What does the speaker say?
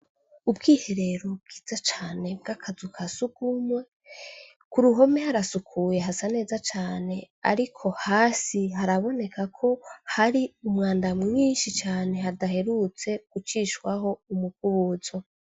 Ubwiherero bwiza cane bw'akazuka sugumwe ku ruhome harasukuye hasa neza cane, ariko hasi haraboneka ko hari umwanda mwinshi cane hadaherutse gucishwaho umukubuzo.